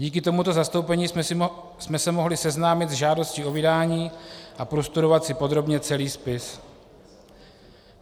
Díky tomuto zastoupení jsme se mohli seznámit s žádostí o vydání a prostudovat si podrobně celý spis.